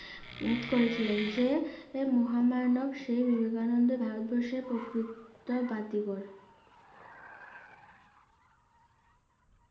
করেছিলেন যে মহামানব সে বিবেকানন্দ ভারতবর্ষের প্রকৃত